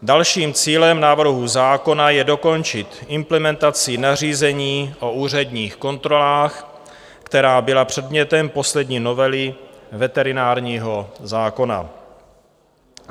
Dalším cílem návrhu zákona je dokončit implementaci nařízení o úředních kontrolách, která byla předmětem poslední novely veterinárního zákona.